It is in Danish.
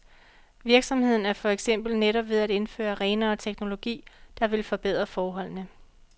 Virksomheden er for eksempel netop ved at indføre renere teknologi, der vil forbedre forholdene.